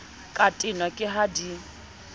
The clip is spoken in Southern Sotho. ka tenwa ke ha di